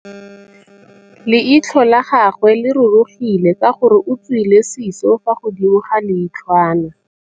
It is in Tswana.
Leitlhô la gagwe le rurugile ka gore o tswile sisô fa godimo ga leitlhwana.